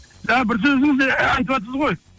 жаңа бір сөзіңізде айтыватсыз ғой